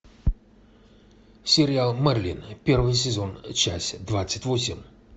сериал мерлин первый сезон часть двадцать восемь